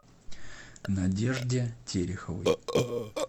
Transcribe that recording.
надежде тереховой